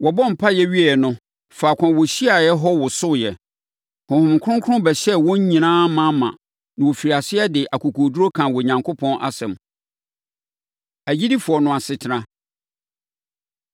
Wɔbɔɔ mpaeɛ wieeɛ no, faako a wɔhyiaeɛ hɔ wosoeɛ. Honhom Kronkron bɛhyɛɛ wɔn nyinaa ma ma na wɔfirii aseɛ de akokoɔduru kaa Onyankopɔn asɛm. Agyidifoɔ No Asetena